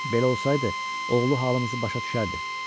Belə olsaydı, oğlu halımızı başa düşərdi.